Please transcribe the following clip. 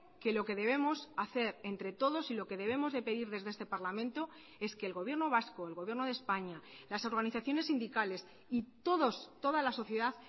que lo que debemos hacer entre todos y lo que debemos de pedir desde este parlamento es que el gobierno vasco el gobierno de españa las organizaciones sindicales y todos toda la sociedad